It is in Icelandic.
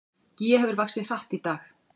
Gígja hefur vaxið hratt í dag